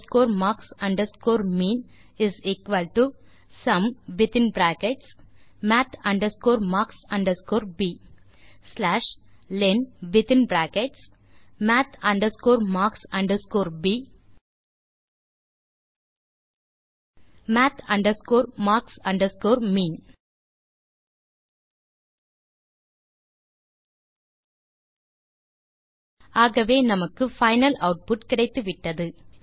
math marks mean summath marks ப் lenmath marks ப் math marks mean ஆகவே நமக்கு பைனல் ஆட்புட் கிடைத்துவிட்டது